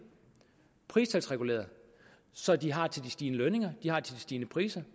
pristalsreguleret så de har til de stigende lønninger de har til de stigende priser